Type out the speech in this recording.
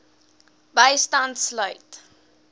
bystand sluit